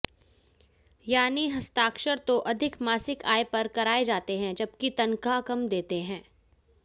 यानी हस्ताक्षर तो अधिक मासिक आय पर कराए जाते हैं जबकि तनख्वाह कम देते हैं